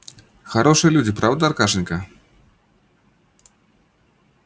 хорошие люди правда аркашенька